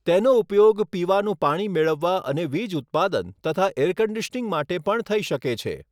તેનો ઉપયોગ પીવાનુું પાણી મેળવવા અને વીજ ઉત્પાદન તથા એર કન્ડિશનિંગ માટે પણ થઈ શકે છે.